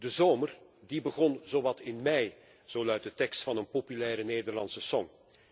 Die zomer die begon zowat in mei, zo luidt de tekst van een populaire Nederlandse song.